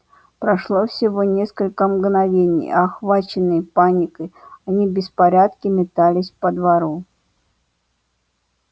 прошло всего несколько мгновений и охваченные паникой они в беспорядке метались по двору